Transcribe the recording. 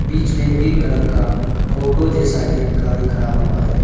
बीच में green colour का auto जैसा एक गाड़ी खड़ा हुआ है।